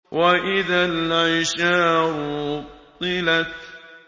وَإِذَا الْعِشَارُ عُطِّلَتْ